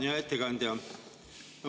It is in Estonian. Hea ettekandja!